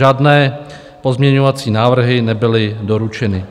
Žádné pozměňovací návrhy nebyly doručeny.